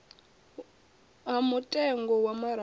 ha mutengo wa maraga wo